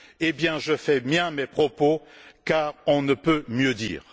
Et bien, je fais miens ces propos, car on ne peut mieux dire.